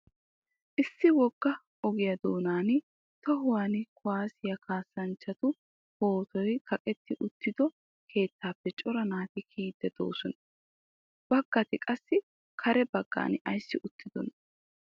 Issi wogga ogiya doonan tohuwan kuwaasiya kaassanchchatu pootoy kaqetti uttido keettaappe cora naati kiyiiddi de'oosona. Baggati qassi kare baggan ayissi uttidonaa?